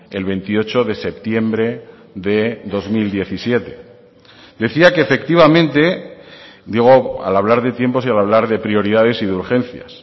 el veintiocho de septiembre de dos mil diecisiete decía que efectivamente digo al hablar de tiempo y al hablar de prioridades y de urgencias